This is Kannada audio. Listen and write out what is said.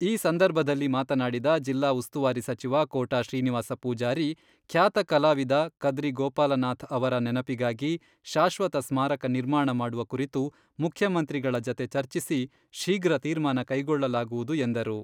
ಈ ಸಂದರ್ಭದಲ್ಲಿ ಮಾತನಾಡಿದ ಜಿಲ್ಲಾ ಉಸ್ತುವಾರಿ ಸಚಿವ ಕೋಟಾ ಶ್ರೀನಿವಾಸ ಪೂಜಾರಿ, ಖ್ಯಾತ ಕಲಾವಿದ ಕದ್ರಿ ಗೋಪಾಲನಾಥ್ ಅವರ ನೆನಪಿಗಾಗಿ ಶಾಶ್ವತ ಸ್ಮಾರಕ ನಿರ್ಮಾಣ ಮಾಡುವ ಕುರಿತು ಮುಖ್ಯಮಂತ್ರಿಗಳ ಜತೆ ಚರ್ಚಿಸಿ ಶೀಘ್ರ ತೀರ್ಮಾನ ಕೈಗೊಳ್ಳಲಾಗುವುದು ಎಂದರು.